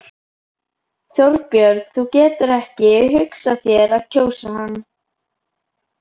Þorbjörn: Þú getur ekki hugsað þér að kjósa hann?